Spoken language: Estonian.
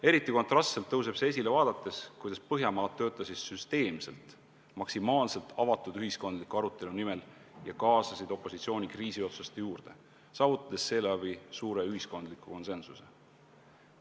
Eriti kontrastselt tõuseb see esile vaadates, kuidas Põhjamaad süsteemselt töötasid maksimaalselt avatud ühiskondliku arutelu nimel ja kaasasid opositsiooni kriisiotsuste juurde, saavutades seeläbi suure ühiskondliku konsensuse.